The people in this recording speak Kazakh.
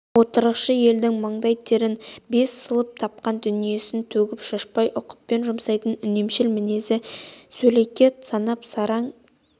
отырықшы елдің маңдай терін бес сылып тапқан дүниесін төгіп-шашпай ұқыппен жұмсайтын үнемшіл мінезін сөлекет санап сараң